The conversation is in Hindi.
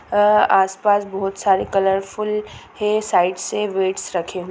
अ आसपास बहुत सारे कलरफुल है साइड से वेट्स रखे हुए--